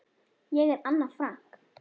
Ég er Anna Frank.